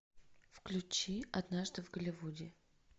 включи однажды в голливуде